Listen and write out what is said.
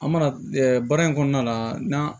An mana baara in kɔnɔna na n'an